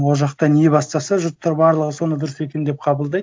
ол жақта не бастаса жұрттар барлығы соны дұрыс екен деп қабылдайды